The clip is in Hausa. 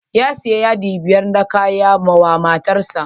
Ya shiya yadi biyar na kaya mawa matar sa.